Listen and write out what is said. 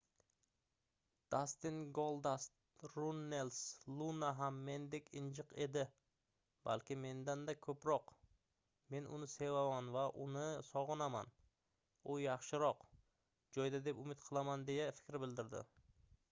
dastin goldust runnels luna ham mendek injiq edi balki mendan-da ko'proq men uni sevaman va uni sog'inaman u yaxshiroq joyda deb umid qilaman deya fikr bildirdi